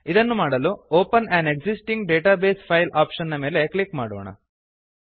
ಇದನ್ನು ಮಾಡಲು open an existing database file option ಮೇಲೆ ಕ್ಲಿಕ್ ಮಾಡೋಣ